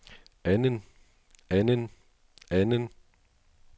anden anden anden